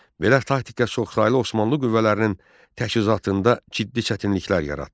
Belə taktika çoxsaylı Osmanlı qüvvələrinin təchizatında ciddi çətinliklər yaratdı.